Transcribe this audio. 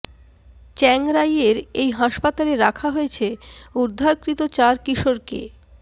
চ্যাং রাইয়ের এই হাসপাতালে রাখা হয়েছে উদ্ধারকৃত চার কিশোরকে